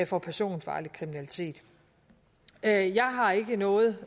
for personfarlig kriminalitet jeg jeg har ikke noget